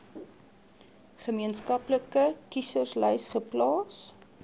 gemeenskaplike kieserslys geplaas